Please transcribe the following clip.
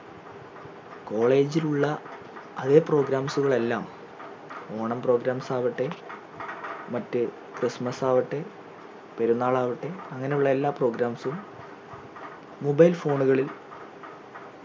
college ലുളള അതെ programs ഉകൾ എല്ലാം ഓണം programs ആവട്ടെ മറ്റ് christmas ആവട്ടെ പെരുന്നാൾ ആവട്ടെ അങ്ങനെയുള്ള എല്ലാ programs ഉം mobile phone കളിൽ